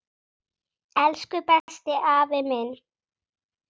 Elsku besti, afi minn.